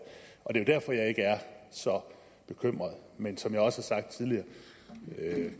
så bekymret men som jeg også har sagt tidligere